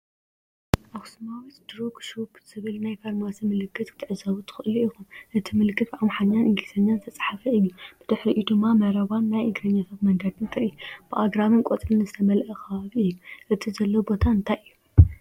“ኣክሱማዊት ድሩግ ሹፕ” ዝብል ናይ ፋርማሲ ምልክት ክትዕዘቡ ትኽእሉ ኢኹም። እቲ ምልክት ብኣምሓርኛን እንግሊዝኛን ዝተጻሕፈ እዩ። ብድሕሪኡ ድማ መረባን ናይ እግረኛታት መገድን ትርኢ። ብኣግራብን ቆጽልን ዝተመልአ ከባቢ እዩ። እቲ ዘሎ ቦታ እንታይ እዩ?